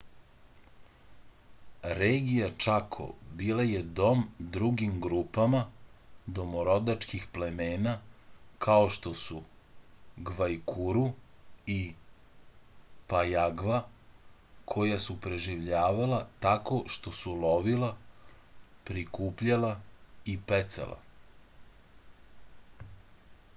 regija čako bila je dom drugim grupama domorodačkih plemena kao što su gvajkuru i pajagva koja su preživljavala tako što su lovila prikupljala i pecala